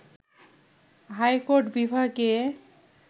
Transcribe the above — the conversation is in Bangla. হাইকোর্ট বিভাগে